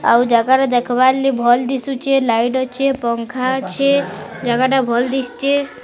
ଆଉ ଜାଗା ଟା ଦେଖବା ଲି ଭଲ୍ ଦିଶୁଚେ ଲାଇଟ୍ ଅଛେ ପଙ୍ଖା ଅଛେ ଜାଗା ଟା ଭଲ୍ ଦିଶୁଚେ।